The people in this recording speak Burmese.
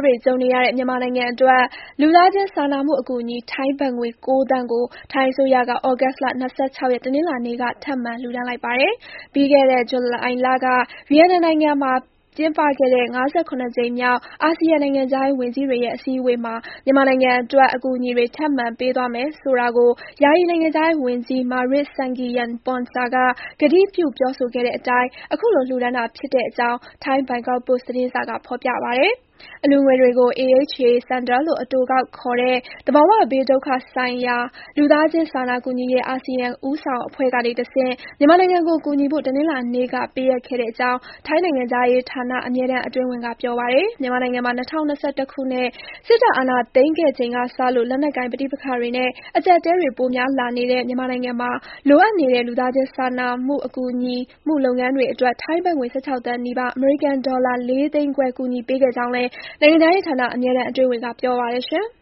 တွေ ကြုံနေရတဲ့ မြန်မာနိုင်ငံအတွက် လူသားချင်းစာနာမှု အကူအညီ ထိုင်းဘတ်ငွေ ၉ သန်းကို ထိုင်းအစိုးရက သြဂုတ်လ ၂၆ ရက်၊ တနင်္လာနေ့က ထပ်မံ လှူဒါန်းလိုက်ပါတယ်။ ပြီးခဲ့တဲ့ ဇူလိုင်လက ဗီယက်နမ်နိုင်ငံမှာ ကျင်းပခဲ့တဲ့ ၅၇ ကြိမ်မြောက် အာဆီယံ နိုင်ငံခြားရေး ဝန်ကြီးတွေရဲ့ အစည်းအဝေးမှာ မြန်မာနိုင်ငံအတွက် အကူအညီတွေ ထပ်မံ ပေးသွားမယ်ဆိုတာကို ယာယီ နိုင်ငံခြားရေးဝန်ကြီး Maris Sangiampongsa က ကတိပြု ပြောဆိုခဲ့တဲ့အတိုင်း ခုလို လှူဒါန်းတာဖြစ်တဲ့အကြောင်း ထိုင်း ဘန်ကောက်ပို့စ် သတင်းစာက ဖော်ပြပါတယ်။ အလှူငွေတွေကိုတော့ AHA Centre လို့ အတိုကောက်ခေါ်တဲ့ သဘာဝဘေးဒုက္ခ ဆိုင်ရာ လူသားချင်း စာနာကူညီရေး အာဆီယံ ဦးဆောင်အဖွဲ့ကနေတဆင့် မြန်မာနိုင်ငံကို ကူညီဖို့ တနင်္လာနေ့က ပေးအပ်ခဲ့တဲ့အကြောင်း ထိုင်းနိုင်ငံခြားရေးဌာန အမြဲတမ်း အတွင်းဝန် Eksiri Pintaruchi က ပြောပါတယ်။ မြန်မာနိုင်ငံမှာ ၂၀၂၁ ခုနှစ် စစ်တပ် အာဏာသိမ်းခဲ့ချိန်ကစလို့ လက်နက်ကိုင် ပဋိပက္ခတွေနဲ့ အကျပ်အတည်းတွေ ပိုများလာနေတဲ့ မြန်မာနိုင်ငံမှာ လိုအပ်နေတဲ့ လူသားချင်း စာနာကူညီမှု လုပ်ငန်းတွေအတွက် ထိုင်းဘတ်ငွေ ၁၆ သန်းနီးပါး၊ (အမေရိကန်ဒေါ်လာ ၄ သိန်းခွဲ) ကူညီပေးခဲ့ကြောင်းလည်း နိုင်ငံခြားရေးဌာန အမြဲတမ်း အတွင်းဝန်က ပြောပါတယ်။